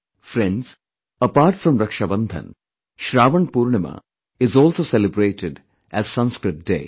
Friends, apart from Rakshabandhan, ShravanPoornima is also celebrated as Sanskrit Day